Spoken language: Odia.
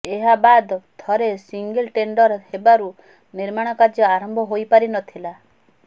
ଏହାବାଦ୍ ଥରେ ସିଙ୍ଗିଲ ଟେଣ୍ଡର ହେବାରୁ ନିର୍ମାଣ କାର୍ଯ୍ୟ ଆରମ୍ଭ ହୋଇପାରି ନଥିଲା